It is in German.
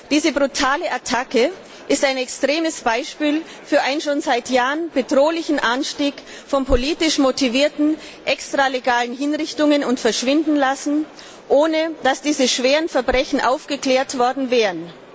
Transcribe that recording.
Diese brutale Attacke ist ein extremes Beispiel für den schon seit Jahren bedrohlichen Anstieg von politisch motivierten extralegalen Hinrichtungen und des Verschwindenlassens, ohne dass diese schweren Verbrechen aufgeklärt worden wären.